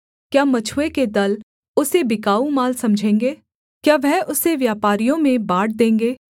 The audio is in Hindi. क्या मछुए के दल उसे बिकाऊ माल समझेंगे क्या वह उसे व्यापारियों में बाँट देंगे